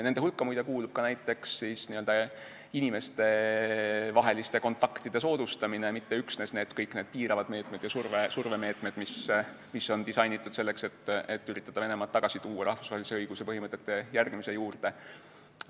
Nende hulka kuulub muide ka näiteks inimestevaheliste kontaktide soodustamine, mitte üksnes kõik piiravad meetmed ja survemeetmed, mis on disainitud selleks, et üritada Venemaad tagasi tuua rahvusvahelise õiguse põhimõtete järgimise juurde.